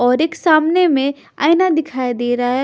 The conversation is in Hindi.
और एक सामने में आयना दिखाया दे रहा है।